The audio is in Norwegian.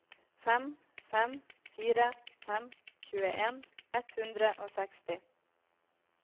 fem fem fire fem tjueen ett hundre og seksti